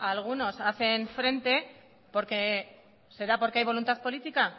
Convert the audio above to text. algunos hacen frente será porque hay voluntad política